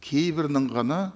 кейбірінің ғана